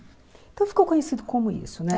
Então ficou conhecido como isso, né?